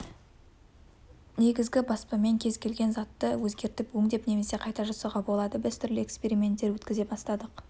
негізі ібаспамен кез келген затты өзгертіп өңдеп немесе қайта жасауға болады біз түрлі эксперименттер өткізе бастадық